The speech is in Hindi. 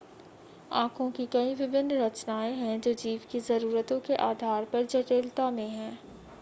आंखों की कई विभिन्न रचनाएं हैं जो जीव की ज़रूरतों के आधार पर जटिलता में हैं